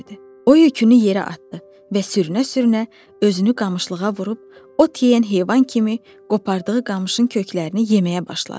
O yükünü yerə atdı və sürünə-sürünə özünü qamışlığa vurub, ot yeyən heyvan kimi qopardığı qamışın köklərini yeməyə başladı.